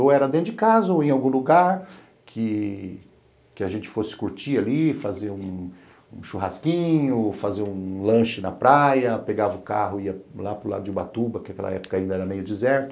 Ou era dentro de casa ou em algum lugar que que a gente fosse curtir ali, fazer um churrasquinho, fazer um lanche na praia, pegava o carro e ia lá para o lado de Ubatuba, que naquela época ainda era meio deserto.